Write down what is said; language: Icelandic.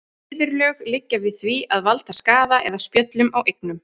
Viðurlög liggja við því að valda skaða eða spjöllum á eignum.